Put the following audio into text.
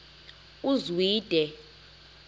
uzwide